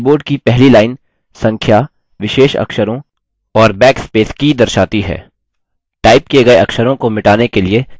keyboard की पहली line संख्या विशेष अक्षरों और बैकस्पेस की दर्शाती है